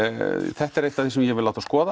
þetta er eitt af því sem ég vil láta skoða